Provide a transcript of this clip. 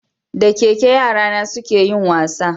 Da keke yara na su ka yi wasa